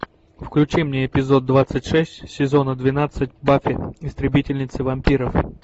включи мне эпизод двадцать шесть сезона двенадцать баффи истребительница вампиров